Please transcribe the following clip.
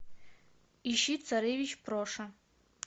ищи царевич проша